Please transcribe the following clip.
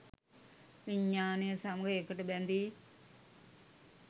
විඥානය සමග එකට බැඳී